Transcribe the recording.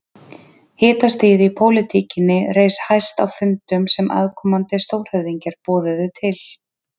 Hitastigið í pólitíkinni reis hæst á fundum sem aðkomandi stórhöfðingjar boðuðu til.